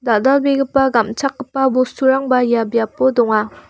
dal·dalbegipa gam·chakgipa bosturangba ia biap donga.